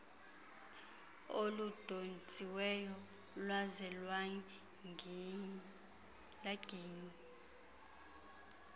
oludontsiweyo lwaze lwaginywa